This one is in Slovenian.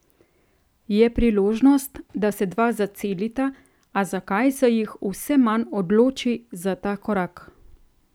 Je priložnost, da se dva zacelita, a zakaj se jih vse manj odloči za ta korak?